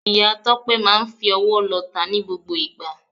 Ìya Tópé máa n fi owó lota ní gbogbo ìgbà